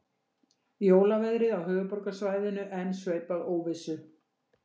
Jólaveðrið á höfuðborgarsvæðinu enn sveipað óvissu